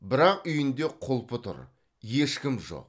бірақ үйінде құлпы тұр ешкім жоқ